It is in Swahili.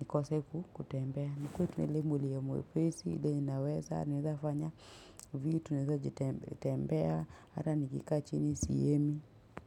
nikose ku kutembea nikuwe tu na ile mwili ya mwepesi ile inaweza naezafanya vitu naeza jitembea ata nikikaa chini sihemi.